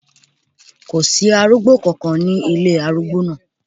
Kò sí arúgbó kankan ní ilé arúgbó náà.